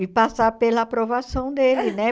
E passar pela aprovação dele, né?